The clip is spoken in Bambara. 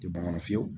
Tɛ bamanan fiyewu